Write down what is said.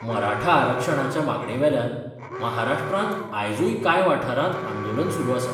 मराठा आरक्षणाच्या मागणे वेल्यान महाराष्ट्रांत आयजुय कांय वाठारांत आंदोलन सुरू आसा.